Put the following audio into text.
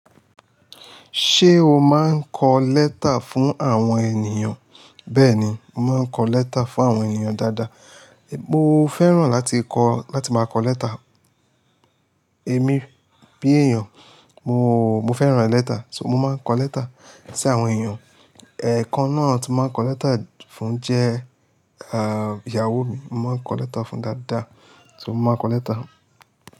Ṣé o máa ń kọ lẹ́tà fún àwọn ènìyàn? Bẹ́ẹ̀ni, mo máa ń kọ lẹ́tà fún àwọn ènìyàn dáadáa. Mo fẹ́ràn láti kọ láti máa kọ lẹ́tà. Èmi bí èèyàn mo, mo fẹ́ràn lẹ́tà, so mo máa ń kọ lẹ́tà sí àwọn ènìyàn. Ẹ̀ẹ̀kan náà tí mo máa ń kọ lẹ́tà fún jẹ́ ah ìyàwó mi. Mo máa ń kọ lẹ́tà fún dáadáa. So mo máa ń kọ lẹ́tà.